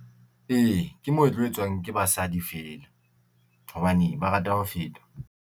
E, ke moetlo etswang ke basadi fela hobane ba rata ho fetwa.